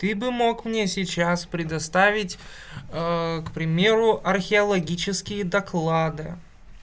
ты бы мог мне сейчас предоставить к примеру археологические доклады